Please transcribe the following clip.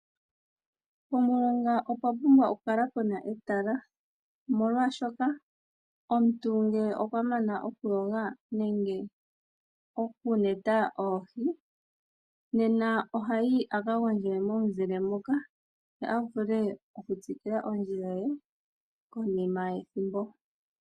Pomulonga opwa pumbwa okukala puna etala, molwaashoka omuntu ngele okwa mana okuyoga nenge okuneta oohi, nena ohayi a kagondje momuzile moka, ye a vule okutsikila ondjila ye konima yethimbo.